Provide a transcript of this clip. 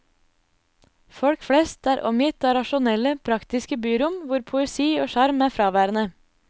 Folk flest er omgitt av rasjonelle, praktiske byrom hvor poesi og sjarm er fraværende.